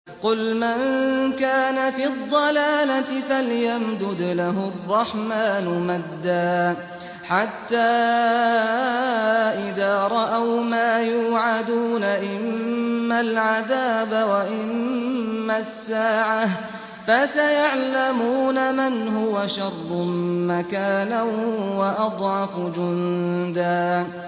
قُلْ مَن كَانَ فِي الضَّلَالَةِ فَلْيَمْدُدْ لَهُ الرَّحْمَٰنُ مَدًّا ۚ حَتَّىٰ إِذَا رَأَوْا مَا يُوعَدُونَ إِمَّا الْعَذَابَ وَإِمَّا السَّاعَةَ فَسَيَعْلَمُونَ مَنْ هُوَ شَرٌّ مَّكَانًا وَأَضْعَفُ جُندًا